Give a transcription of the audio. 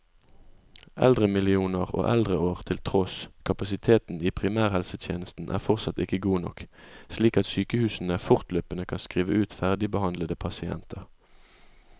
Eldremillioner og eldreår til tross, kapasiteten i primærhelsetjenesten er fortsatt ikke god nok, slik at sykehusene fortløpende kan skrive ut ferdigbehandlede pasienter.